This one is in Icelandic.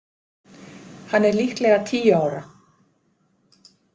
Hann er líklega tíu ára.